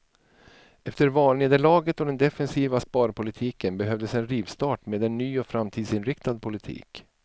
Efter valnederlaget och den defensiva sparpolitiken behövdes en rivstart med en ny och framtidsinriktad politik.